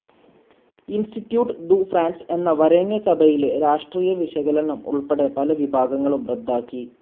Institute du France എന്ന വരേണ്യസഭയിലെ രാഷ്ട്രീയവിശകലനം ഉൾപ്പെടെ പല വിഭാഗങ്ങളും റദ്ദാക്കി.